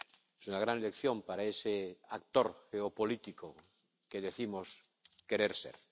Es una gran lección para ese actor geopolítico que decimos querer ser.